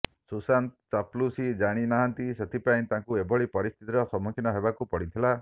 ସୁଶାନ୍ତ ଚାପଲୁସି ଜାଣି ନାହାନ୍ତି ସେଥିପାଇଁ ତାଙ୍କୁ ଏଭଲି ପରିସ୍ଥିତିର ସମ୍ମୁଖୀନ ହେବାକୁ ପଡ଼ିଥିଲା